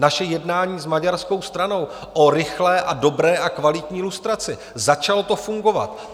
Naše jednání s maďarskou stranou o rychlé a dobré a kvalitní lustraci - začalo to fungovat.